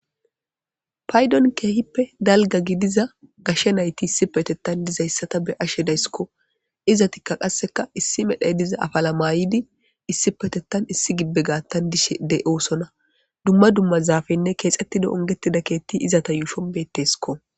Paydon keehippe dalgga gidiza gashe nayti issippetettan dizayssa be'ashe de'aysiko. Izetikka qassekka issi medhay diza afala mayyidi issipeptettan issi gibbe gaatan dishe de'osona. Dumma dumma zaafenne keexxetidi ongetida keetti izata yuushshon beettesiko.